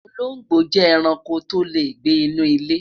olongbo je eranko to le gbe inú ile